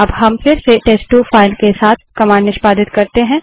अब हम फिर से टेस्ट2 फाइल के साथ कमांड निष्पादित करते हैं